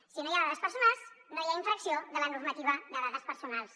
si no hi ha dades personals no hi ha infracció de la normativa de dades personals